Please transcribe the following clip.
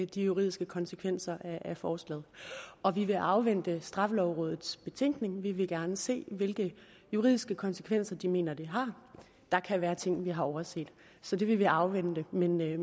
de juridiske konsekvenser af forslaget og vi vil afvente straffelovrådets betænkning vi vil gerne se hvilke juridiske konsekvenser de mener det har der kan være ting vi har overset så den vil vi afvente men vi